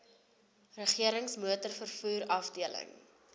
regerings motorvervoer afdeling